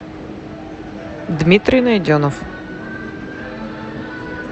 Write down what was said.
дмитрий найденов